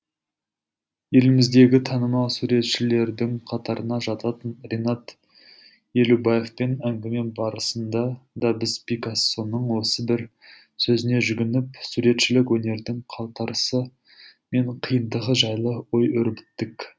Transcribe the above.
еліміздегі танымал суретшілердің қатарына жататын ренат елубаевпен әңгіме барысында да біз пикассоның осы бір сөзіне жүгініп суретшілік өнердің қалтарысы мен қиындығы жайлы ой өрбіттік